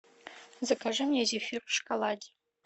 закажи мне зефир в шоколаде